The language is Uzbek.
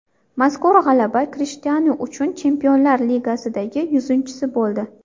Mazkur g‘alaba Krishtianu uchun Chempionlar Ligasidagi yuzinchisi bo‘ldi .